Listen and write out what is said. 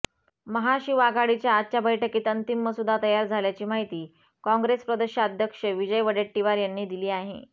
महाशिवआघाडीच्या आजच्या बैठकीत अंतिम मसुदा तयार झाल्याची माहिती काँग्रेस प्रदेशाध्यक्ष विजय वडेट्टीवार यांनी दिली आहे